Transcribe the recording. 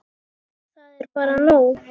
Það er bara nóg.